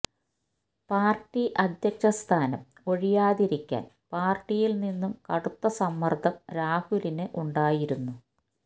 party അധ്യക്ഷ സ്ഥാനം ഒഴിയാതിരിക്കാൻ പാർട്ടിയിൽനിന്നു കടുത്ത സമ്മർദ്ദം രാഹുലിന് ഉണ്ടായിരുന്നു